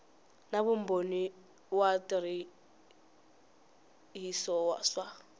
na vumbhoni wa switirhiso swa